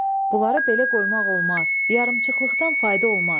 Bunları belə qoymaq olmaz, yarımçıqlıqdan fayda olmaz.